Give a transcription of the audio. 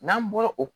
N'an bɔra o